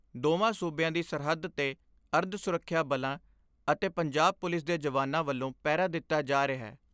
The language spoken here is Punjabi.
ਦੋਵਾਂ ਸੂਬਿਆਂ ਦੀ ਸਰਹੱਦ ਤੇ ਅਰਧ ਸੁਰੱਖਿਆ ਬਲਾਂ ਅਤੇ ਪੰਜਾਬ ਪੁਲਿਸ ਦੇ ਜਵਾਨਾਂ ਵੱਲੋਂ ਪਹਿਰਾ ਦਿੱਤਾ ਜਾ ਰਿਹੈ।